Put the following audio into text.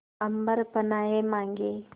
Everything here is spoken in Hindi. अम्बर पनाहे मांगे